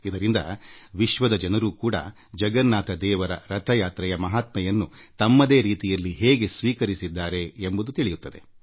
ಹೀಗಾಗಿಯೇ ವಿಶ್ವದಲ್ಲಿ ತನ್ನದೇ ರೀತಿಯಲ್ಲಿ ಭಗವಾನ್ ಜಗನ್ನಾಥ ರಥ ಯಾತ್ರೆಯನ್ನು ಆಚರಿಸಲಾಗುತ್ತದೆ ಮತ್ತು ಜಗನ್ನಾಥನ ಕಾರ್ ಹಬ್ಬದ ಮಹತ್ವವನ್ನು ಅಂಗೀಕರಿಸಲಾಗಿದೆ